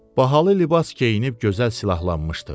Bahalı libas geyinib gözəl silahlanmışdı.